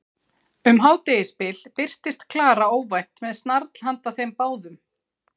Um hádegisbil birtist Klara óvænt með snarl handa þeim báðum.